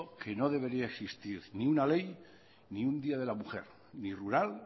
que no debería existir ninguna ley ni un día de la mujer ni rural